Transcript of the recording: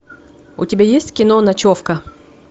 у тебя есть кино ночевка